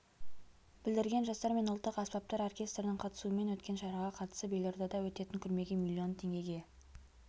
білдірген жастар мен ұлттық аспаптар оркестрінің қатысуымен өткен шараға қатысып елордада өтетін көрмеге миллион теңгеге